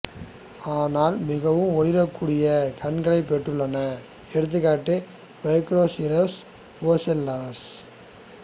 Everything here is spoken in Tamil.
ஆனால் மிகவும் ஒளிரக் கூடிய கண்களைப் பெற்றுள்ளன எடுத்துக்காட்டு மைக்ரோசிரோஸ் ஒசெல்லாடஸ்